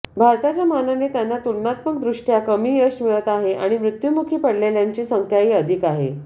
भारताच्या मानाने त्यांना तुलनात्मकदृष्ट्या कमी यश मिळत आहे आणि मृत्युमुखी पडलेल्यांची संख्याही अधिक आहे